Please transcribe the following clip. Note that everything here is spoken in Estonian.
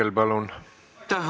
Aitäh!